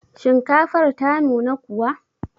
Shinkafar ta nuna kuwa?